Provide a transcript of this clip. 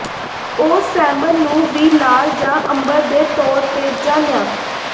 ਉਹੁ salmon ਨੂੰ ਵੀ ਲਾਲ ਜ ਅੰਬਰ ਦੇ ਤੌਰ ਤੇ ਜਾਣਿਆ